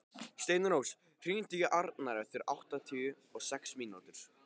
Steinrós, hringdu í Arnar eftir áttatíu og sex mínútur.